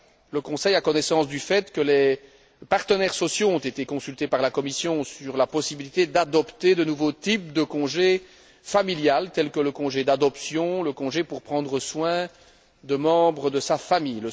Le Conseil a connaissance du fait que les partenaires sociaux ont été consultés par la Commission sur la possibilité d'adopter de nouveaux types de congé familial, tels que le congé d'adoption ou le congé pour prendre soin de membres de sa famille.